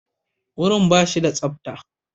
Wurin ba shi da tsabta.